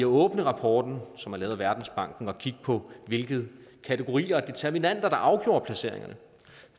åbne rapporten som er lavet af verdensbanken og kigge på hvilke kategorier og determinanter der afgjorde placeringerne